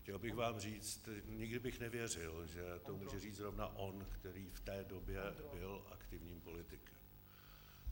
Chtěl bych vám říct, nikdy bych nevěřil, že to může říct zrovna on, který v té době byl aktivním politikem.